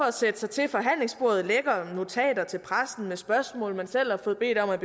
at sætte sig til forhandlingsbordet lækker notater til pressen med spørgsmål man selv har bedt om at